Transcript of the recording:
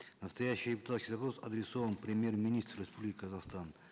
настоящий депутатский запрос адресован премьер министру республики казахстан